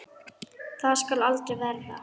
Það skal aldrei verða!